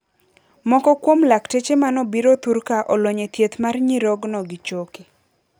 Moko kuom lakteche manobiro thurka olony e thieth mar nyirogno gi choke.